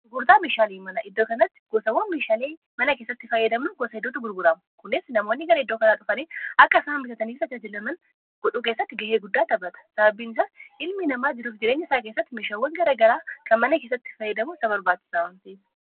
gurgurtaa mishaalii mana iddoo kanatti gosawwan mishaalii mana keessatti faayyadamu goosa hiduutu gurguramu kunis namoonni gara idoo kanaa dhufanii akka isaa nbitataniisa ajaajilaman godhuu keessatti ga'ee guddaa tabata sababbiinsaas ilmi namaa jiruuf jireenya isaa keessatti mishaawwan gara garaa kan mana keessatti fayyadamu sabarbaachisamamtiif